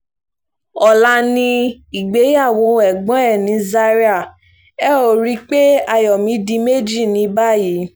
ọlá yìí ni ìgbéyàwó ẹ̀gbọ́n ẹ̀ ní zaria ẹ ó rí i pé ayọ̀ mi di méjì ní báyìí